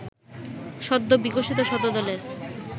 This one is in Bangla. সদ্যবিকশিত শতদলের